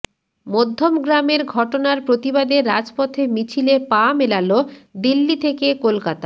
মধ্যমগ্রামের ঘটনার প্রতিবাদে রাজপথে মিছিলে পা মেলাল দিল্লি থেকে কলকাতা